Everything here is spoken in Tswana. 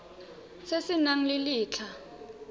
se se nang le letlha